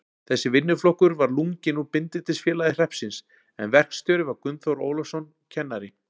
Þessi vinnuflokkur var lunginn úr Bindindisfélagi hreppsins, en verkstjóri var Gunnþór Ólafsson, kennari.